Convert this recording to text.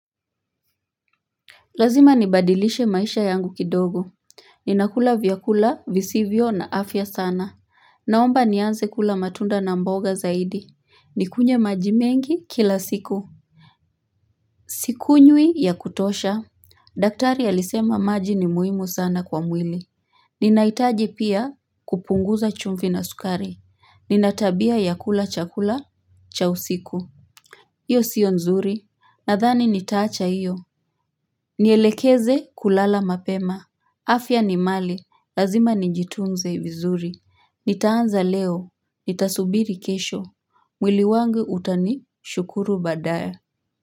Lazima nibadilishe maisha yangu kidogo. Ninakula vyakula visivyo na afya sana. Naomba nianze kula matunda na mboga zaidi. Nikunywe maji mengi kila siku. Sikunyui ya kutosha. Daktari alisema maji ni muhimu sana kwa mwili. Ninaitaji pia kupunguza chumvi na sukari. Nina tabia ya kula chakula cha usiku. Iyo sio nzuri. Nadhani nitaacha iyo. Nielekeze kulala mapema. Afya ni mali lazima nijitunze vizuri, nitaanza leo, nitasubiri kesho, mwili wangu utani, shukuru badaya.